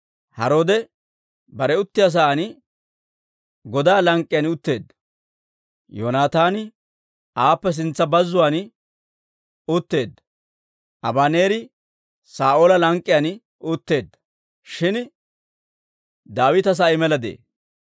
Haroode bare uttiyaa sa'aan godaa lank'k'iyaan utteedda; Yoonataani aappe sintsa bazzuwaan utteedda; Abaneeri Saa'oola lank'k'iyaan utteedda; shin Daawita sa'ay mela de'ee.